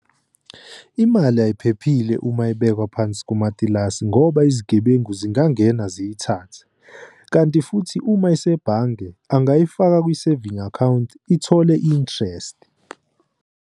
Imali ayiphephile uma ibekwa phansi kimatilasi ngoba izigebengu zingangena ziyithathe. Kanti futhi uma isebhange angayifaki kwi-saving account ithole i-interest.